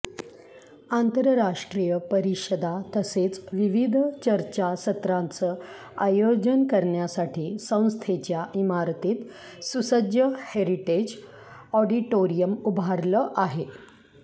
आंतरराष्ट्रीय परिषदा तसेच विविध चर्चासत्रांचं आयोजन करण्यासाठी संस्थेच्या इमारतीत सुसज्ज हेरिटेज ऑडिटोरियम उभारलं आहे